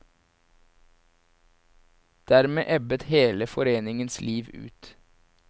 Dermed ebbet hele foreningens liv ut.